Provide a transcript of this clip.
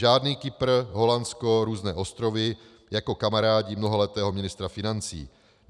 Žádný Kypr, Holandsko, různé ostrovy jako kamarádi mnoholetého ministra financí.